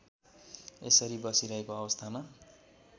यसरी बसिरहेको अवस्थामा